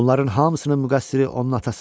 Bunların hamısının müqəssiri onun atasıdır.